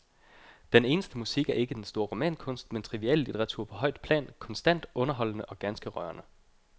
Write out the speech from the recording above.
Den eneste musik er ikke den store romankunst, men triviallitteratur på højt plan, konstant underholdende og ganske rørende.